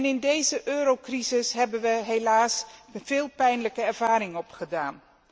In deze eurocrisis hebben we helaas veel pijnlijke ervaring opgedaan.